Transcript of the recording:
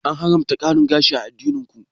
An haramta ƙarin gashi a addinin ku?